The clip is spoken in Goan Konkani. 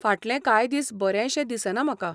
फाटलें कांय दीस बरेंशें दिसना म्हाका.